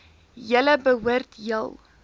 julle behoort heel